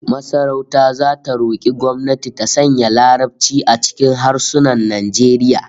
Masarauta zata roki gwamnati ta sanya Larabci a cikin harsunan Najeriya